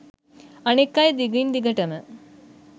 අනික් අය දිගින් දිගටම